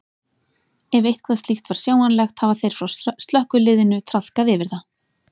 Ef eitthvað slíkt var sjáanlegt hafa þeir frá slökkviliðinu traðkað yfir það.